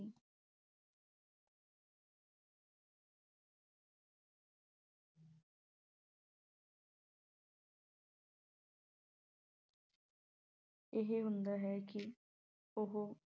ਇਹ ਹੁੰਦਾ ਹੈ ਕਿ ਉਹ